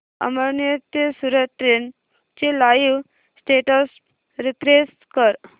अमळनेर ते सूरत ट्रेन चे live status refresh कर